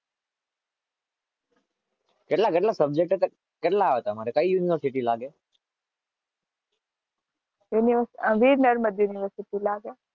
કેટલા કેટલા સબ્જેક્ટ તમારે કેટલા?